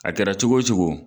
A kɛra cogo o cogo.